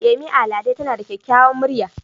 Yemi Alade tana da kyakkyawar murya.